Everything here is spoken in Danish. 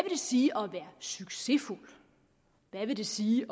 sige at være succesfuld hvad vil det sige